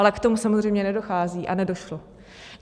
Ale k tomu samozřejmě nedochází a nedošlo.